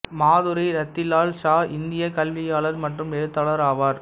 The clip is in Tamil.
மாதுரி ரத்திலால் ஷா இந்திய கல்வியாளர் மற்றும் எழுத்தாளர் ஆவார்